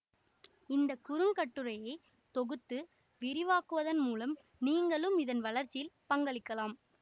இந்த குறுங்கட்டுரையை தொகுத்து விரிவாக்குவதன் மூலம் நீங்களும் இதன் வளர்ச்சியில் பங்களிக்கலாம்